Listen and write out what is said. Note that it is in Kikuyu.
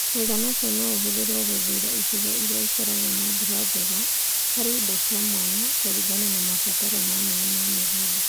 Mũigana ũcio no ũhũthĩrũo gũthuura icigo iria ikoragwo na mbura njega harĩ indo cia mwanya kũringana na mabataro ma maĩ ma mĩgũnda